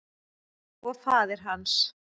Og faðir hans.